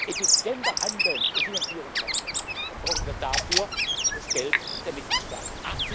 effizienter handeln und finanzieren kann, dann brauchen wir dafür das Geld der Mitgliedstaaten.